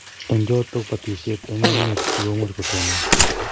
Eng chotok batishet eng' emet si komuch kotonon